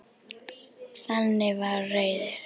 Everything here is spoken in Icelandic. Þannig var Reynir.